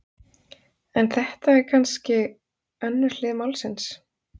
En þetta er kannske önnur hlið málsins.